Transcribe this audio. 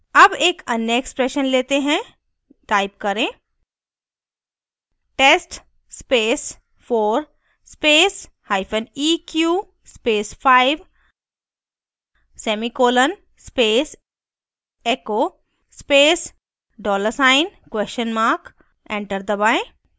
अब एक अन्य expression let हैं type करें: